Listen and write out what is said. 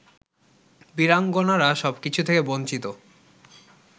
বীরাঙ্গনারা সবকিছু থেকে বঞ্চিত